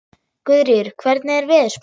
Guðríður, hvernig er veðurspáin?